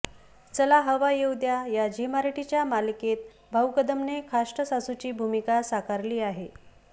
चला हवा येऊ द्या या झी मराठीच्या मालिकेत भाऊ कदमने खाष्ट सासूची भूमिका साकारली आहे